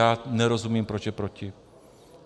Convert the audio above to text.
Já nerozumím, proč je proti.